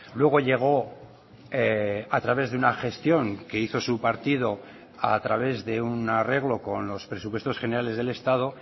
luego llegó a través de una gestión que hizo su partido a través de un arreglo con los presupuestos generales del estado